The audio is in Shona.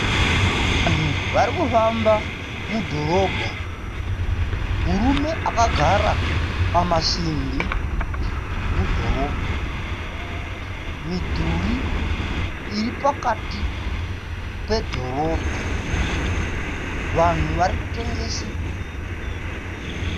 Vanhu vari kufamba mudhorobha. Murume akagara pamasimbi mudhorobha. Midhuri iri pakati pedhorobha. Vanhu vari kutengesa.